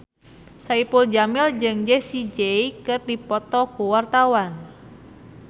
Saipul Jamil jeung Jessie J keur dipoto ku wartawan